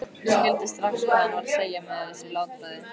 Skildi strax hvað hann var að segja með þessu látbragði.